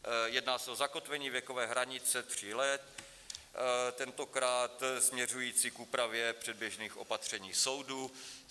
Jedná se o zakotvení věkové hranice tří let, tentokrát směřující k úpravě předběžných opatření soudu.